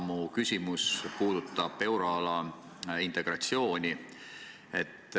Minu küsimus puudutab euroala integratsiooni.